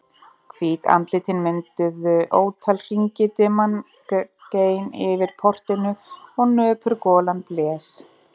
Hvít andlitin mynduðu ótal hringi, dimman gein yfir portinu og nöpur golan blés.